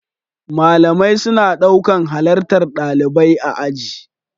Malamai suna ɗaukan halartar ɗalibai aji.